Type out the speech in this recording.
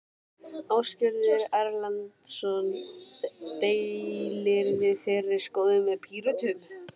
Ásgeir Erlendsson: Deilirðu þeirri skoðun með Pírötum?